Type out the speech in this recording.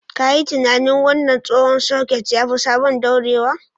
Ka yi tunanin! Wannan tsohon soket ya fi sabon dorewa.